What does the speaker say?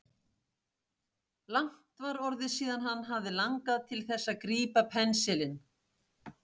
Langt var orðið síðan hann hafði langað til þess að grípa pensilinn.